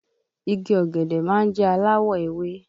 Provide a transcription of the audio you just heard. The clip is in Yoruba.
Igi ọ̀gẹ̀dẹ̀ má ń jẹ́ aláwọ̀ ewé